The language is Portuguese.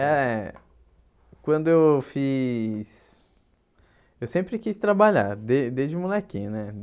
É... Quando eu fiz... Eu sempre quis trabalhar, de desde molequinho, né?